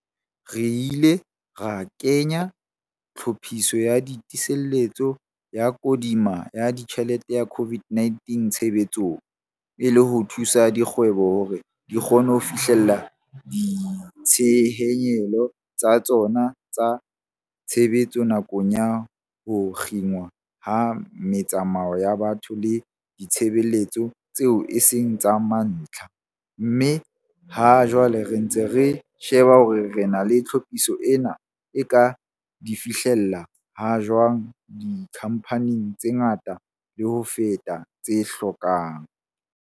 Re ile ra kenya Tlhophiso ya Tiiseletso ya Kadimo ya Ditjhelete ya COVID-19 tshebetsong, e le ho thusa dikgwebo hore di kgone ho fihlella ditshenyehelo tsa tsona tsa tshebetso nakong ya ho kginwa ha metsamao ya batho le ditshebeletso tseo e seng tsa mantlha, mme ha jwale re ntse re sheba hore na tlhophiso ena e ka di fihlella ha jwang dikhamphane tse ngata le ho feta tse hlokang.